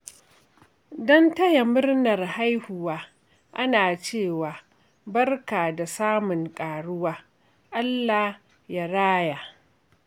Don taya murnar haihuwa, ana cewa “Barka da samun ƙaruwa! Allah ya raya.”